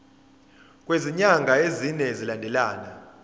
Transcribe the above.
kwezinyanga ezine zilandelana